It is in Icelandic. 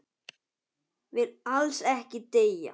Vill alls ekki deyja.